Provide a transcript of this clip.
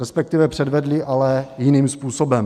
Respektive předvedli, ale jiným způsobem.